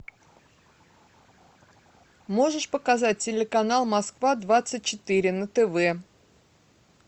можешь показать телеканал москва двадцать четыре на тв